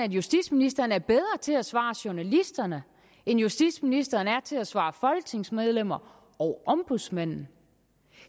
at justitsministeren er bedre til at svare journalisterne end justitsministeren er til at svare folketingsmedlemmer og ombudsmanden